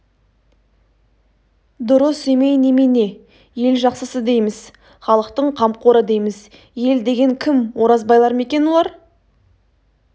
дұрыс емей немене ел жақсысы дейміз халықтың қамқоры дейміз ел деген кім оразбайлар ма екен олар